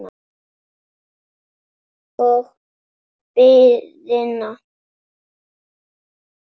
Og biðina.